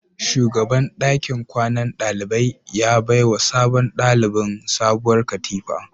Shugaban dakin kwanan dalibai ya baiwa sabon dalibin sabuwar katifa